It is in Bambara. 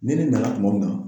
Ni ne nana kuma min na.